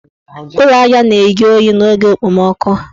Ụlọ aja na-eju oyi n' oge okpomoọkụ.